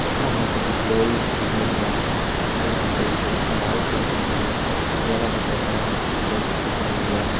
वफणा हम ते कुछ लोग भी छ दिखेण लग्यां फंडे हम ते एक बड़ी इमारत छ दिखेण लगीं जै का भितर फणा हम ते कुछ लोग छ दिखेण लग्यां।